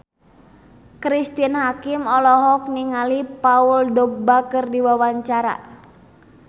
Cristine Hakim olohok ningali Paul Dogba keur diwawancara